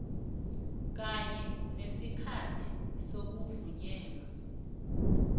kanye nesikhathi sokuvunyelwa